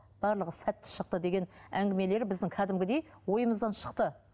барлығы сәтті шықты деген әңгімелер біздің кәдімгідей ойымыздан шықты